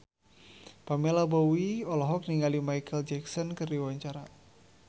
Pamela Bowie olohok ningali Micheal Jackson keur diwawancara